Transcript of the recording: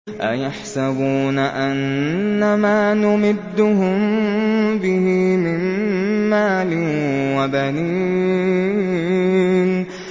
أَيَحْسَبُونَ أَنَّمَا نُمِدُّهُم بِهِ مِن مَّالٍ وَبَنِينَ